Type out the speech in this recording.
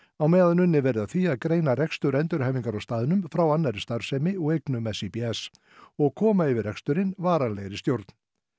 á meðan unnið verði að því að greina rekstur endurhæfingar á staðnum frá annarri starfsemi og eignum SÍBS og koma yfir reksturinn varanlegri stjórn